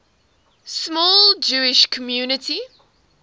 small jewish community